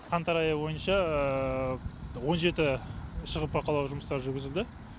қаңтар айы бойынша он жеті шұғыл бақылау жұмыстары жүргізілді